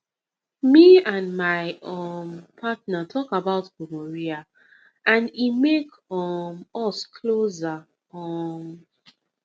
me and my um partner talk about gonorrhea and e make um us closer um